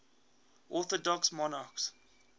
orthodox monarchs